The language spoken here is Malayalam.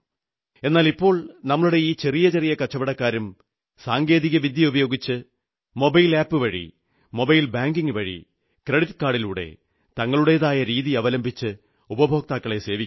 എന്നാൽ ഇപ്പോൾ നമ്മുടെ ഈ ചെറിയ ചെറിയ കച്ചവടക്കാരും സാങ്കേതികവിദ്യ ഉപയോഗിച്ച് മൊബൈൽ ആപ് വഴി മൊബൈൽ ബാങ്കിംഗ് വഴി ക്രെഡിറ്റ് കാർഡിലൂടെ തങ്ങളുടേതായ രീതി അവലംബിച്ച് ഉപഭോക്താക്കളെ സേവിക്കുന്നു